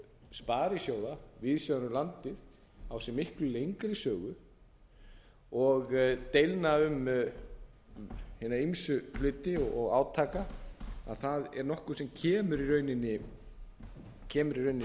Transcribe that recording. sparisjóða víðs vegar um landið á sér miklu lengri sögu og deilna um hina ýmsu hluti og átaka að það er nokkuð sem kemur